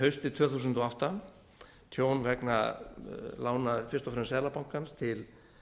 haustið tvö þúsund og átta tjón vegna lána fyrst og fremst seðlabankans til